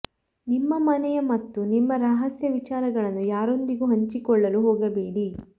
ನಿಮ್ಮ ಮನೆಯ ಮತ್ತು ನಿಮ್ಮ ರಹಸ್ಯ ವಿಚಾರಗಳನ್ನು ಯಾರೊಂದಿಗೆ ಹಂಚಿಕೊಳ್ಳಲು ಹೋಗಬೇಡಿ